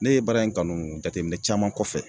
Ne ye baara in kanu jateminɛ caman kɔfɛ